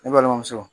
Ne balimamuso